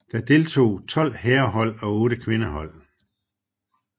Der deltog tolv herrehold og otte kvindehold